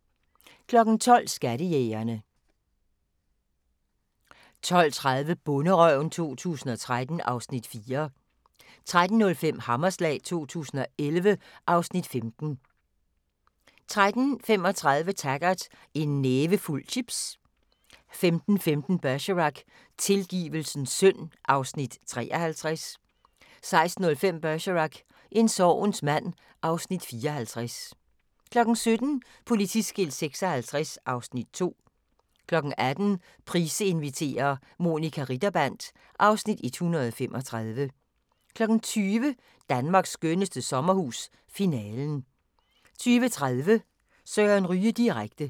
12:00: Skattejægerne 12:30: Bonderøven 2013 (Afs. 4) 13:05: Hammerslag 2011 (Afs. 15) 13:35: Taggart: En nævefuld chips 15:15: Bergerac: Tilgivelsens synd (Afs. 53) 16:05: Bergerac: En sorgens mand (Afs. 54) 17:00: Politiskilt 56 (Afs. 2) 18:00: Price inviterer – Monica Ritterband (Afs. 135) 20:00: Danmarks skønneste sommerhus – Finalen 20:30: Søren Ryge direkte